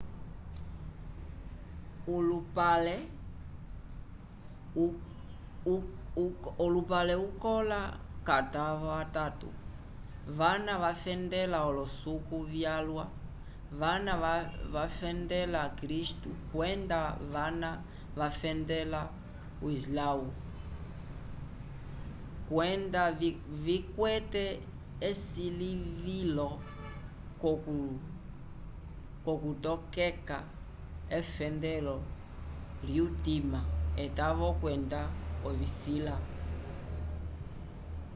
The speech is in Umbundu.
olupale ukola k'atavo atatu vana vafendela olosuku vyalwa vana vafndela kristu kwenda vana vafendela o islãwu kwenda vikwete esilivilo k'okutokeka efendelo lyutima etavo kwenda ovisila